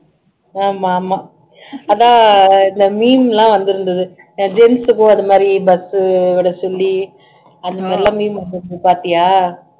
ஆமாமா இந்த meme எல்லாம் வந்துருந்துது gents க்கும் இது மாதிரி bus உ விட சொல்லி அந்த மாதிரி எல்லாம் meme வந்துருந்துது பாத்தியா